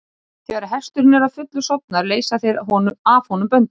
Þegar hesturinn er að fullu sofnaður leysa þeir af honum böndin.